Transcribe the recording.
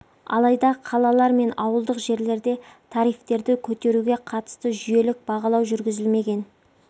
алайда қалалар мен ауылдық жерлерде тарифтерді көтеруге қатысты жүйелік бағалау жүргізілмеген